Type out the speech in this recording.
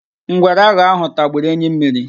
Ngwere aghọ ahụ tagburu enyi mmiri.